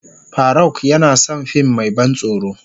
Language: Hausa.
Farauk yana son fim mai ban tsoro.